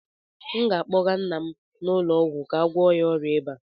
m ga-akpọga nna m ụlọ ọgwụ ka a gwọọ ya ọrịa ịba